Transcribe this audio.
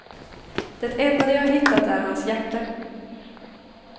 Det enda de har hittat är hans jacka.